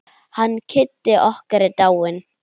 Hann Kiddi okkar er dáinn.